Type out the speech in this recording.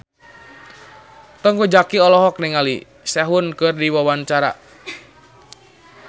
Teuku Zacky olohok ningali Sehun keur diwawancara